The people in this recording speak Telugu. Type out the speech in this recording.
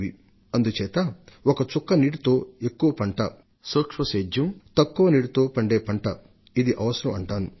సూక్ష్మ సేద్యం పద్ధతిని అవలంబించడం ద్వారా తక్కువ నీటిని మాత్రమే తీసుకొనే పంటలను సాగు చేయడం ద్వారా ప్రతి చుక్క నీటితో ఎక్కువ పంటను అమలు చేయవలసిన అవసరం ఉంది